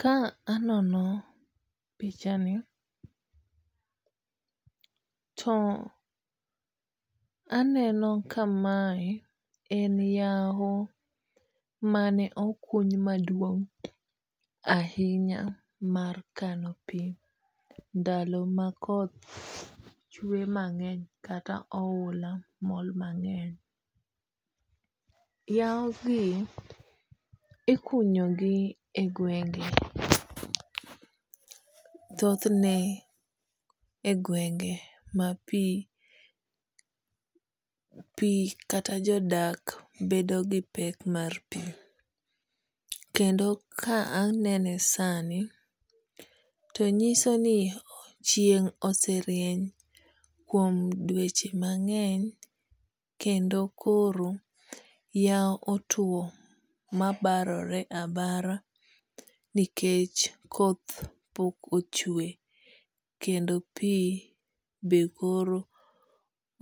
Ka anono pichani to aneno ka mae en yaho mane okuny maduong' ahinya mar kano pi ndalo ma koth chwe mang'eny kata oula mol mang'eny. Yao gi ikunyo gi e gwenge. Thoth ne e gwenge pa pi kata jodak bedo gi pek mar pi. Kendo ka anene sani to nyiso ni chieng' oserieny kuom dweche mang'eny kendo koro yawo otuo ma barore abara nikech koth pok ochwe kendo pi be koro